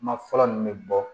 Kuma fɔlɔ nin bɛ bɔ